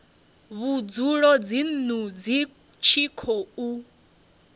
vhudzulo dzinnu hu tshi khou